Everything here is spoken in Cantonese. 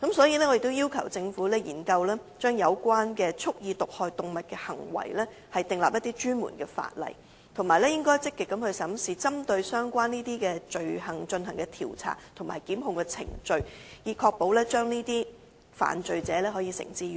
因此，我已要求政府研究就蓄意毒害動物的行為制定專門的法例，以及積極審視針對相關罪行而進行的調查和檢控程序，以確保能夠將這些犯罪者繩之以法。